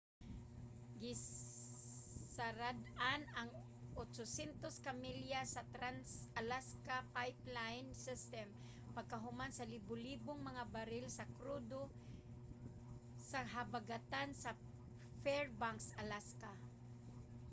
gisarad-an ang 800 ka milya sa trans-alaska pipeline system pagkahuman sa libu-libong mga baril sa krudo sa habagatan sa fairbanks alaska